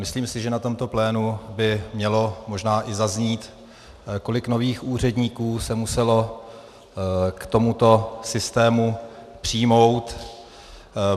Myslím si, že na tomto plénu by mělo možná i zaznít, kolik nových úředníků se muselo k tomuto systému přijmout.